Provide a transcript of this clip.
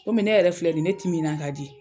Komi ne yɛrɛ filɛ bi ne timinan ka di